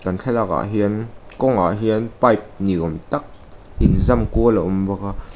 kan thlalakah hian kawng ah hian pipe niawm tak inzam kual a awm bawk a.